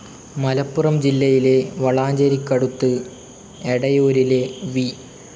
മലപ്പുറം ജില്ലയിലെ വളാഞ്ചേരിക്കടുത്ത് എടയൂരിലെ വി.